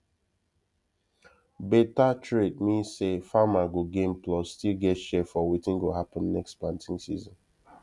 better trade mean say farmer go gain plus still get share for wetin go happen next planting season